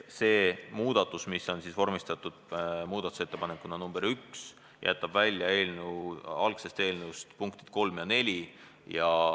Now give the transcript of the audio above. See muudatus, mis on vormistatud muudatusettepanekuna nr 1, jätab algsest eelnõust välja punktid 3 ja 4.